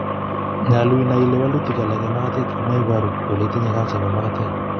Nyolu in nai ile walutik alak en magatet komo iboru kole itinye kansa nebo magatet